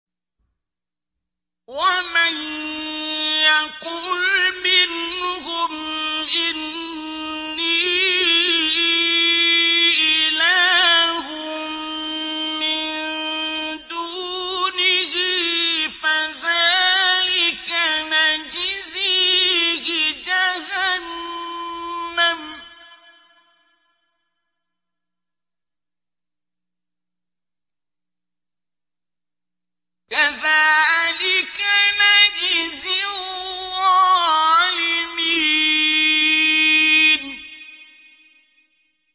۞ وَمَن يَقُلْ مِنْهُمْ إِنِّي إِلَٰهٌ مِّن دُونِهِ فَذَٰلِكَ نَجْزِيهِ جَهَنَّمَ ۚ كَذَٰلِكَ نَجْزِي الظَّالِمِينَ